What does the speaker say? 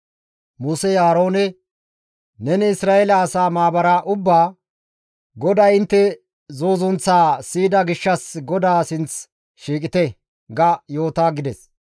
Musey Aaroones, «Neni Isra7eele asaa maabara ubbaa, ‹GODAY intte zuuzunththaa siyida gishshas GODAA sinth shiiqite› ga yoota» gides.